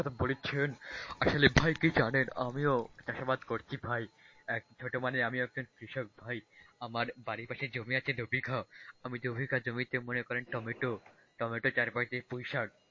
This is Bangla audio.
বলেছেন, আসলে ভাই কি জানেন আমিও চাষাবাদ করছি ভাই, এক ছোট মানের আমিও একজন কৃষক ভাই, আমার বাড়ির পাশে জমি আছে দুইবিঘা, আমি জমির কাজ জমিতে মনে করেন টমেটো, টমেটোর চারপাশ দিয়ে পুইশাক।